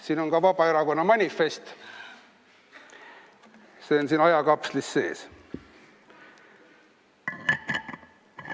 Siin on ka Vabaerakonna manifest, see on siin ajakapslis sees.